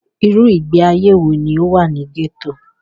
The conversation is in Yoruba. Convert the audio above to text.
Irú ìgbé ayé wọ ní o wà ní gẹ́tò?